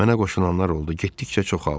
Mənə qoşulanlar oldu, getdikcə çoxaldı.